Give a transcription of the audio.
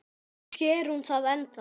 Kannski er hún það ennþá.